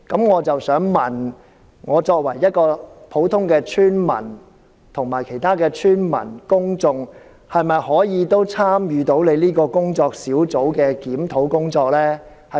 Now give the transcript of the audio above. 我的補充質詢是，作為一名普通村民，我和其他村民及公眾是否可以參與工作小組的檢討工作？